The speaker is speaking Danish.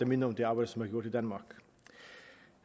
minder om det arbejde som